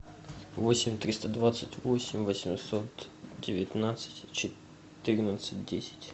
восемь триста двадцать восемь восемьсот девятнадцать четырнадцать десять